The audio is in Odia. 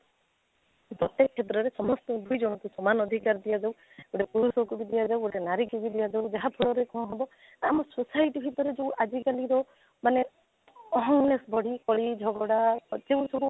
ପ୍ରତେକ କ୍ଷେତ୍ରରେ ସମସ୍ତଙ୍କୁ ବି ଜଣକୁ ସମାନ ଅଧିକାର ଦିଆଯାଉ ଗୋଟେ ପୁରୁଷକୁ ବି ଦିଆଯାଉ ଗୋଟେ ନାରୀକୁ ବି ଦିଆଯାଉ ଯାହା ଫଳରେ କ'ଣ ହେବ ଆମ society ଭିତରେ ଯଉ ଆଜି କାଲିର ମାନେ awareness ବଢି କଳି ଝଗଡା ଯେଉଁ ସବୁ